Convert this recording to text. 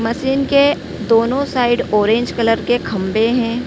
Machine के दोनों side orange colour के खंभे हैं।